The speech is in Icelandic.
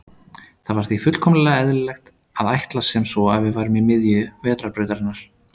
Það var því fullkomlega eðlilegt að ætla sem svo að við værum í miðju Vetrarbrautarinnar.